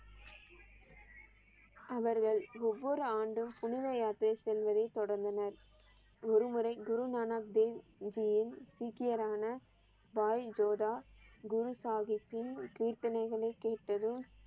அவர்கள் ஒவ்வொரு ஆண்டும் புனித யாத்திரை செல்வதை தொடர்ந்தனர். ஒரு முறை குரு நானக் தேவ் ஜியின் சீக்கியரான பாய் ஜோதா குரு சாகிப்பின் கீர்த்தனைகளை கேட்டதும்